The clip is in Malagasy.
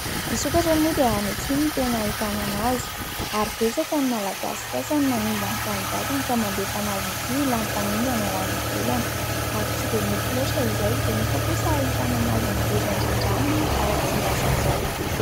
Ny sokatra moa dia any atsimo no tena ahitanana azy ary betsaka ny malagasy sasany manimba ny tanindrazana ka mandefa azy ity ho lany tamingana ho any ivelany, ary tsy dia mety loatra izay; dia nefa kosa ahitanana azy ny ngeza indrindra aminy ao Tsimbazaza eto.